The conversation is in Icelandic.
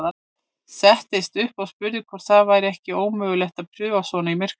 Settist upp og spurði hvort það væri ekki ómögulegt að paufa svona í myrkrinu.